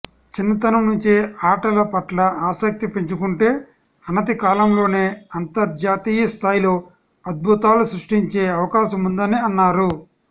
చిన్నతనం నుంచే ఆటల పట్ల ఆసక్తి పెంచుకుంటే అనతి కాలంలోనే అంతర్జాతీయస్థాయిలో అద్భుతాలు సృష్టించే అవకాశముందని అన్నారు